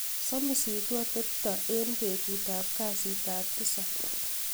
somisitu atebtab en betut ab kasit ab tisab